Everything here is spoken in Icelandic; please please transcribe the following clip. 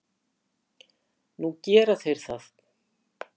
Núna gera þeir það.